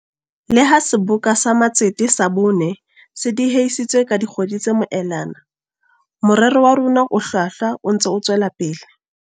Le ha Seboka sa Matsete sa bone se diehisitswe ka di kgwedi tse moelana, morero wa rona o hlwahlwa o ntse o tswela pele.